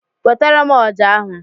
Wetara m ọjà ahụ!